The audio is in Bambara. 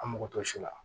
An mako to si la